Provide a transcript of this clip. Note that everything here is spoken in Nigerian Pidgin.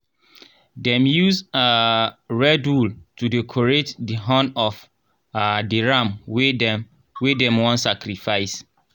dem use um red wool to decorate di horn of um di ram wey dem wey dem wan sacrifice.